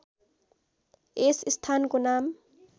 यस स्‍थानको नाम